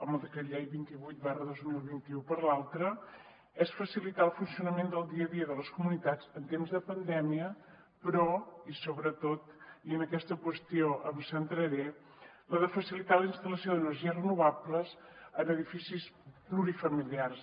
amb el decret llei vint vuit dos mil vint u per l’altra és facilitar el funcionament del dia a dia de les comunitats en temps de pandèmia però i sobretot i en aquesta qüestió em centraré la de facilitar la instal·lació d’energies renovables en edificis plurifamiliars